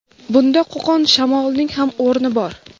bunda Qo‘qon shamolining ham o‘rni bor.